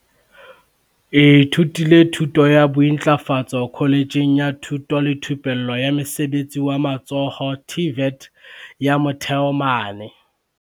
ithutile thuto ya bointlafatso kholetjheng ya thuto le thupello ya mosebetsi wa matsoho, TVET, ya Motheo mane